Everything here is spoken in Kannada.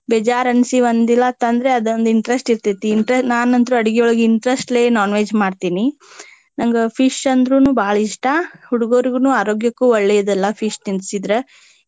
ಬೇಜಾರ ಅನ್ಸಿ ಒಂದ ದಿನಾ ತಂದ್ರೆ ಅದೊಂದ interest ಇರ್ತೆತಿ. ನಾನ ಅಂತ್ರು ಅಡಗಿಯೊಳಗ interest ಲೆ non veg ಮಾಡ್ತೀನಿ. ನಂಗ Fish ಅಂದ್ರುನು ಬಾಳ ಇಷ್ಟಾ. ಹುಡುಗೊರಿಗನು ಆರೋಗ್ಯಕ್ಕು ಒಳ್ಳೆದಲ್ಲ Fish ತಿನ್ಸಿದ್ರೆ.